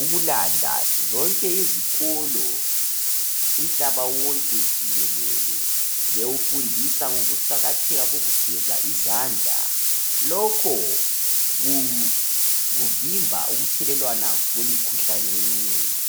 ukulanda zonke izikolo umhlaba wonke jikelele bewufundisa ngokuqakatheka kokugeza izandla lokho kuvimba ukuthelelwana kwemikhuhlane eminengi.